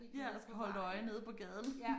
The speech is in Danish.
Ja og holdt øje nede på gaden